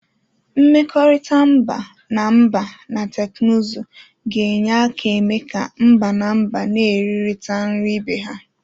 Mmekọrịta mba na mba na teknụzụ ga-enye aka eme ka mba na mba n'eririta nri ibe ha.